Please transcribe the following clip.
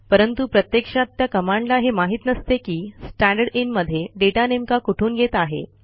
परंतु प्रत्यक्षात त्या कमांडला हे माहित नसते की स्टँडरदिन मध्ये डेटा नेमका कुठून येत आहे